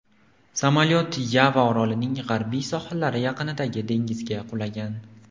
Samolyot Yava orolining g‘arbiy sohillari yaqinidagi dengizga qulagan.